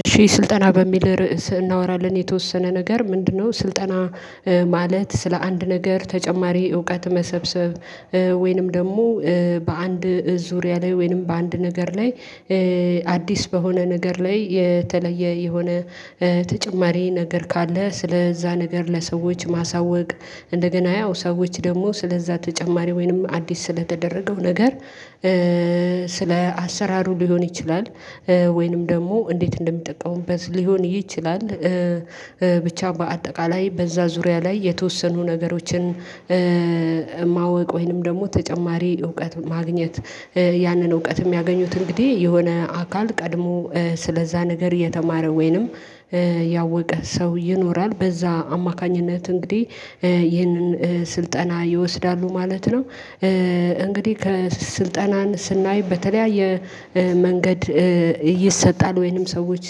እሺ ስልጠና በሚል ርዕስ እናወራለን የተወሰነ ነገር ምንድነው? ስልጠና ማለት ስለ አንድ ነገር ተጨማሪ እውቀት መሰብሰብ ወይንም ደግሞ በአንድ ዙሪያ ላይ ወይንም በአንድ ነገር ላይ አዲስ በሆነ ነገር ላይ የተለየ የሆነ ተጨማሪ ነገር ካለ ስለዛ ነገር ለሰዎች ማሳወቅ እንደገና ያው ሰዎች ደግሞ ስለዛ ተጨማሪ ወይንም አዲስ ስለተደረገው ነገር ስለ አሰራሩ ሊሆን ይችላል ወይንም ደግሞ እንዴት እንደሚጠቀሙበት ሊሆን ይችላል ብቻ በአጠቃላይ በዛ ዙሪያ ላይ የተወሰኑ ነገሮችን የማውቅ ወይንም ደግሞ ተጨማሪ እውቀት ማግኘት ያንን እውቀትም ያገኙት እንግዲህ የሆነ አካል ቀድሞ ስለዛ ነገር የተማረ ወይንም ያወቀ ሰው ይኖራል በዛ አማካኝነት እንግዲህ ይህንን ስልጠና ይወስዳሉ ማለት ነው። እንግዲህ ከስልጠናን ስናይ በተለያየ መንገድ ይሰጣል ወይንም ሰዎች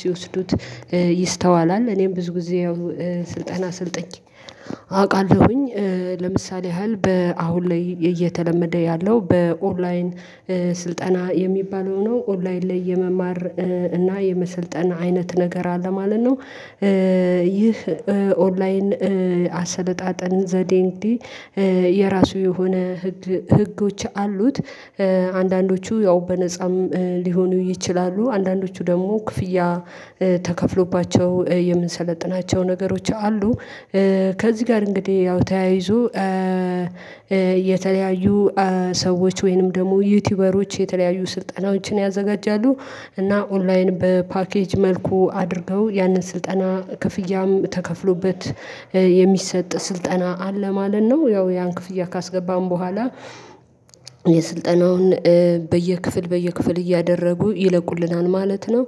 ሲወስዱት ይስተዋላል እኔም ብዙ ጊዜ ያው ስልጠና አሰልጥኘ አውቃለሁኝ ለምሳሌ ያህል በአሁን ላይ እየተለመደ ያለው በኦንላይን ስልጠና የሚባለው ነው ኦንላይን ላይ የመማር እና የመሰልጠን አይነት ነገር አለ ማለት ነው። ይህ ኦንላይን አሰለጣጠን ዘዴ እንግዲህ የራሱ የሆነ ህግ ህጎች አሉት አንዳንዶቹ ያው በነፃም ሊሆኑ ይችላሉ አንዳንዶቹ ደግሞ ክፍያ ተከፍሎባቸው የምንሰለጥናቸው ነገሮች አሉ። ከዚህ ጋር እንግዲህ ያው ተያይዞ የተለያዩ ሰዎች ወይንም ደግሞ ዩቲዩበሮች የተለያዩ ስልጠናዎችን ያዘጋጃሉ እና ኦንላይን በፓኬጅ መልኩ አድርገው ያንን ስልጠና ክፍያም ተከፍሎበት የሚሰጥ ስልጠና አለ ማለት ነው ያው ያን ክፍያ ካስገባን በኋላ የስልጠናውን በየክፍል በየክፍል እያደረጉ ይለቁልናል ማለት ነው።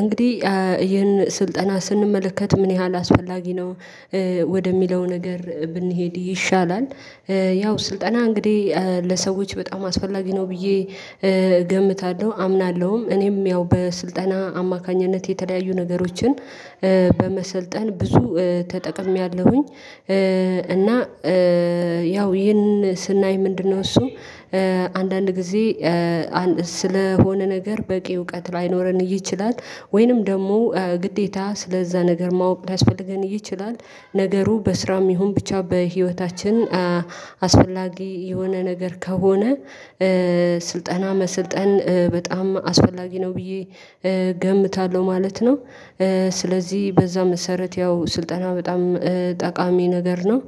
እንግዲህ ይህን ስልጠና ስንመለከት ምን ያህል አስፈላጊ ነው? ወደሚለው ነገር ብንሄድ ይሻላል ያው ስልጠና እንግዲህ ለሰዎች በጣም አስፈላጊ ነው ብዬ እገምታለሁ አምናለሁም እኔም ያው በስልጠና አማካኝነት የተለያዩ ነገሮችን በመሰልጠን ብዙ ተጠቅሜያለሁኝ። እና ያው ይህን ስናይ ምንድነው? እሱ አንዳንድ ጊዜ ስለሆነ ነገር በቂ እውቀት ላይኖረን ይችላል ወይንም ደግሞ ግዴታ ስለዛ ነገር ማወቅ ሊያስፈልገን ይችላል ነገሩ በስራም ይሁን ብቻ በህይወታችን አስፈላጊ የሆነ ነገር ከሆነ ስልጠና መስልጠን በጣም አስፈላጊ ነው ብዬ እገምታለሁ ማለት ነው። ስለዚህ በዛ መሰረት ያው ስልጠና በጣም ጠቃሚ ነገር ነው።